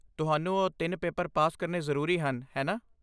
ਤੁਹਾਨੂੰ ਉਹ ਤਿੰਨੇ ਪੇਪਰ ਪਾਸ ਕਰਨੇ ਜ਼ਰੂਰੀ ਹਨ ਹੈ ਨਾ?